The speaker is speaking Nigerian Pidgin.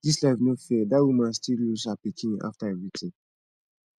dis life no fair dat woman still lose that her pikin after everything